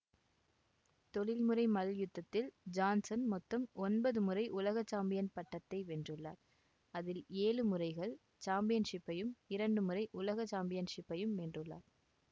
தொழில்முறை மல்யுத்தத்தில் ஜான்சன் மொத்தம் ஒன்பது முறை உலக சாம்பியன் பட்டத்தை வென்றுள்ளார் அதில் ஏழு முறைகள் சாம்பியன்ஷிப்பையும் இரண்டு முறை உலக சாம்பியன்ஷிப்பை வென்றுள்ளார்